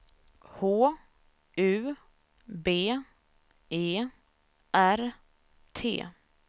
H U B E R T